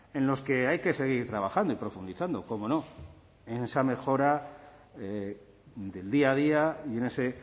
en los que hay que seguir trabajando y profundizando cómo no en esa mejora del día a día y en ese